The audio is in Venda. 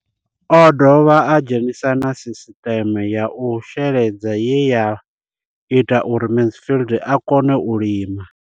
O ḓo dovha a dzhenisa na sisiṱeme ya u sheledza ye ya ita uri Mansfied a kone u lima.